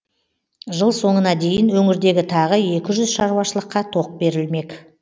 жыл соңына дейін өңірдегі тағы екі жүз шаруашылыққа тоқ берілмек